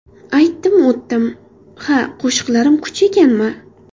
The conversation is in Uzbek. Aytdim, o‘tdim... Ha, qo‘shiqlarim kuch ekanmi?!